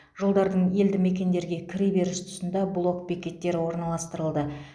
жолдардың елді мекендерге кіре беріс тұсында блок бекеттері орналастырылды